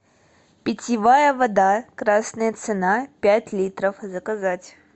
питьевая вода красная цена пять литров заказать